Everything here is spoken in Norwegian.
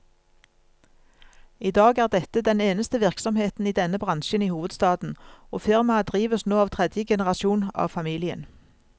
I dag er dette den eneste virksomheten i denne bransjen i hovedstaden, og firmaet drives nå av tredje generasjon av familien.